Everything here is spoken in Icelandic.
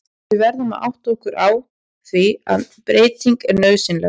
Við verðum að átta okkur á því að breyting er nauðsynleg.